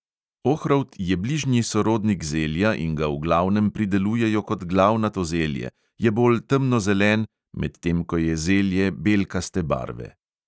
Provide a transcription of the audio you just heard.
Ohrovt je bližnji sorodnik zelja in ga v glavnem pridelujejo kot glavnato zelje: je bolj temnozelen, medtem ko je zelje belkaste barve.